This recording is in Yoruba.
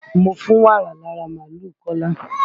Mo fún wàrà lára máàlúù Kọ́lá.